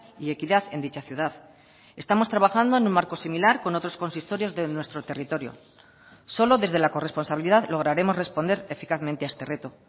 y equidad en dicha ciudad estamos trabajando en un marco similar con otros consistorios de nuestro territorio solo desde la corresponsabilidad lograremos responder eficazmente a este reto